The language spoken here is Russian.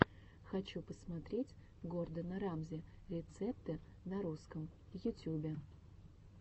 хочу посмотреть гордона рамзи рецепты на русском в ютюбе